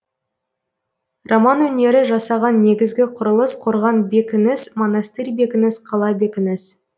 роман өнері жасаған негізгі құрылыс қорған бекініс монастырь бекініс қала бекініс